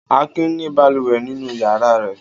Akin ní balùwẹ̀ nínú ìyàrá rẹ̀.